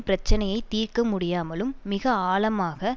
பிரச்சனையை தீர்க்க முடியாமலும் மிக ஆழமாக